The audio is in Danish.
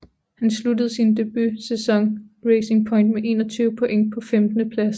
Han sluttede sin debutsæson hos Racing Point med 21 point på femtendepladsen